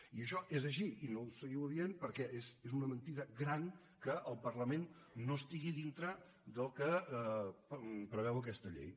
i això és així i no ho seguiu dient perquè és una mentida gran que el parlament no estigui dintre del que preveu aquesta llei